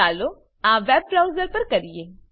ચાલો આ web browser પર કરીએ